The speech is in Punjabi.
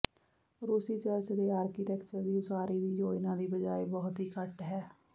ਰੂਸੀ ਚਰਚ ਦੇ ਆਰਕੀਟੈਕਚਰ ਦੀ ਉਸਾਰੀ ਦੀ ਯੋਜਨਾ ਦੀ ਬਜਾਏ ਬਹੁਤ ਹੀ ਘੱਟ ਹੈ